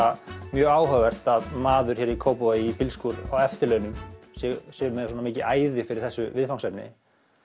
mjög áhugavert að maður hér í Kópvogi í bílskúr á eftirlaunum sé með svona mikið æði fyrir þessu viðfangsefni